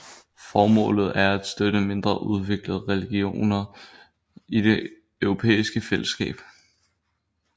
Formålet er at støtte mindre udviklede regioner i det europæiske fællesskab